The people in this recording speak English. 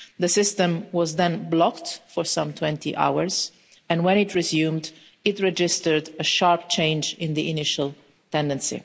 The system was then blocked for some 20 hours and, when it resumed, it registered a sharp change in the initial tendency.